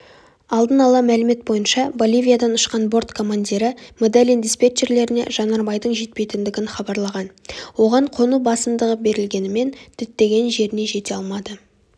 алдын ала мәлімет бойынша боливиядан ұшқан борт командирі медельин диспетчерлеріне жанармайдың жетпейтіндігін хабарлаған оған қону басымдығы берілгенімен діттеген жеріне жете алмады